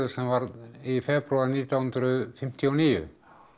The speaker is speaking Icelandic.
sem varð í febrúar nítján hundruð fimmtíu og níu